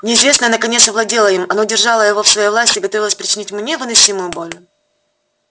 неизвестное наконец овладело им оно держало его в своей власти и готовилось причинить ему невыносимую боль